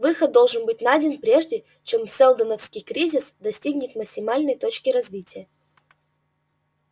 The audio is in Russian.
выход должен быть найден прежде чем сэлдоновский кризис достигнет максимальной точки развития